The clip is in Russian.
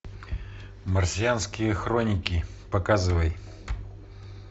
марсианские хроники показывай